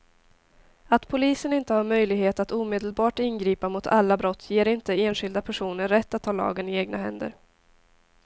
Att polisen inte har möjlighet att omedelbart ingripa mot alla brott ger inte enskilda personer rätt att ta lagen i egna händer.